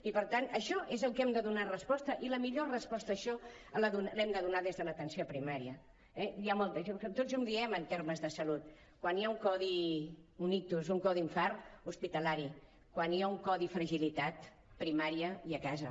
i per tant a això és al que hem de donar resposta i la millor resposta a això l’hem de donar des de l’atenció primària eh tots ho diem en termes de salut quan hi ha un codi un ictus un codi infart hospitalari quan hi ha un codi fragilitat primària i a casa